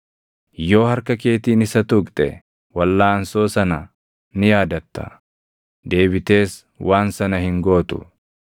Yoo harka keetiin isa tuqxe, walʼaansoo sana ni yaadatta; deebitees waan sana hin gootu!